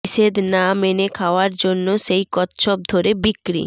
নিষেধ না মেনে খাওয়ার জন্য সেই কচ্ছপ ধরে বিক্রি